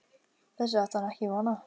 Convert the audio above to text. Þessu átti hann ekki von á.